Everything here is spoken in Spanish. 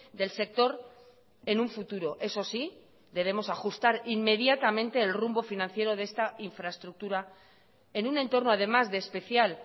del sector en un futuro eso sí debemos ajustar inmediatamente el rumbo financiero de esta infraestructura en un entorno además de especial